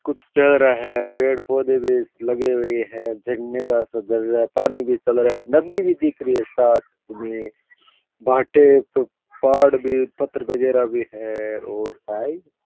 कुछ चारा है पेड़ पोंधे भी लगे हुये है झरने का सा झर रहा है पानी भी चल रहा है नदी भी दिख रही है साथ मे भाटे पहाड़ भी पत्थर बगेरा भी है और भाई --